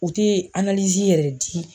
U tɛ yɛrɛ di.